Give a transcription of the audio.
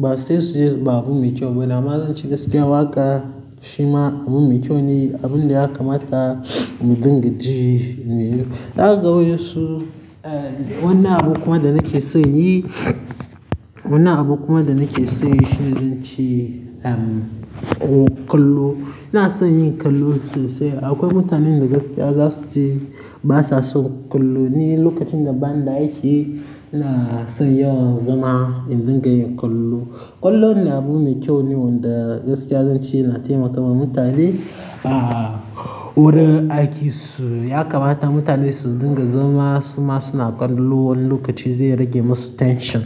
ba sai su ce ba abu mai kyau ba amma zan ce gaskiya waƙa shi ma abu mai kyau ne, abun da ya kamata mu dinga ji ne. Za ka ga wasu, eh, wannan abu kuma da nake son yi, wannan abu kuma da nake son yi shine zan ce, um, kallo. Ina son yin kallo sosai. Akwai mutanen da gaskiya za su ce ba sa son kallo ne lokacin da ban da aiki ina son yawan zama in dinga yin kallo. Kallo ne abu mai kyau ne wanda gaskiya zan ce yana taimakawa mutane a wurin aikinsu. Ya kamata mutane su dinga zama su ma suna kallo wani lokaci zai rage musu tension.